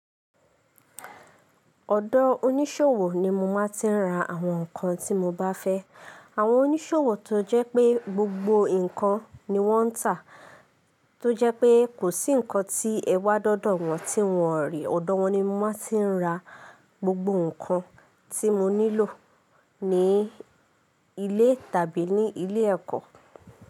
Ọ̀dọ̀ oníṣòwò ni mo máa tí ń ra àwọn nkan tí mo bá fẹ́. Àwọn oníṣòwò tó jẹ́ pé gbogbo nkan ni wọ́n ń tà, tó jẹ́ pé kò sí nkan tí ẹwá dọ̀dọ̀ wọn tí wọn ní. Ọ̀dọ̀ wọn ni mo máa ti ń ra gbogbo nkan tí mo nílò ní ilé tàbí ní ilé ẹ̀kọ́.